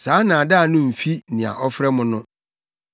Saa nnaadaa no mfi nea ɔfrɛ mo no.